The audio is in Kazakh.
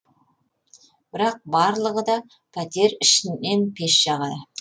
бірақ барлығы да пәтер ішінен пеш жағады